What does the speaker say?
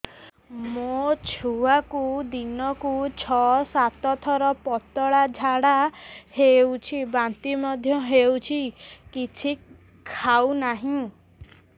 ମୋ ଛୁଆକୁ ଦିନକୁ ଛ ସାତ ଥର ପତଳା ଝାଡ଼ା ହେଉଛି ବାନ୍ତି ମଧ୍ୟ ହେଉଛି କିଛି ଖାଉ ନାହିଁ